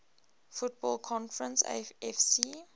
football conference afc